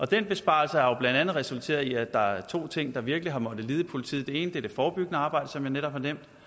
den besparelse har blandt andet resulteret i at der er to ting der virkelig har måttet lide i politiet det ene er det forebyggende arbejde som jeg netop